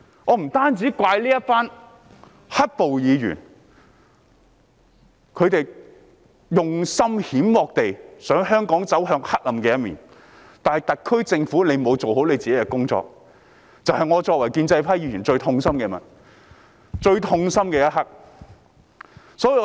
我要怪責的不單是支持"黑暴"的議員，他們用心險惡，想令香港走向黑暗，而同時，特區政府亦未有做好份內事，這是我作為建制派議員感到最痛心之處。